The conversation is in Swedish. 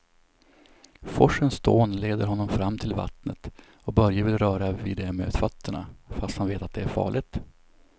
Forsens dån leder honom fram till vattnet och Börje vill röra vid det med fötterna, fast han vet att det är farligt.